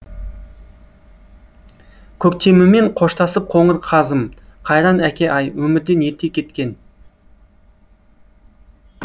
көктемімен қоштасып қоңыр қазым қайран әке ай өмірден ерте кеткен